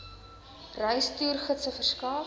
reis toergidse verskaf